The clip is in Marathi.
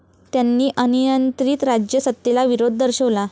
त्यांनी अनियंत्रित राज्य सत्तेला विरोध दर्शवला